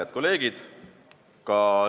Head kolleegid!